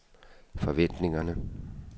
forventningerne